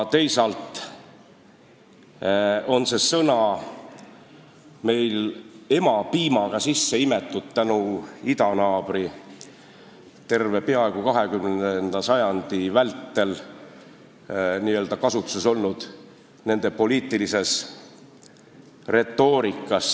Teisalt on see sõna meil emapiimaga sisse imetud tänu peaaegu terve 20. sajandi vältel idanaabri kasutuses olnud poliitilisele retoorikale.